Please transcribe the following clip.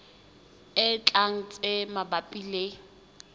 e tlang tse mabapi le